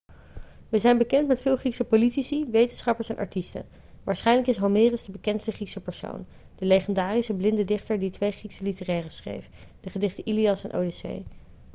we zijn bekend met veel griekse politici wetenschappers en artiesten waarschijnlijk is homerus de bekendste griekse persoon de legendarische blinde dichter die twee griekse literaire schreef de gedichten ilias en odyssee